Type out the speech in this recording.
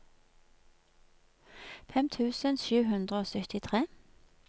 fem tusen sju hundre og syttitre